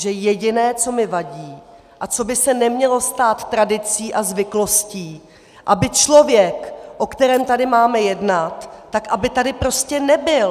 Že jediné, co mi vadí a co by se nemělo stát tradicí a zvyklostí, aby člověk, o kterém tady máme jednat, tak aby tady prostě nebyl.